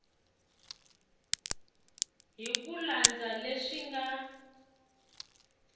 hi ku landza leswi nga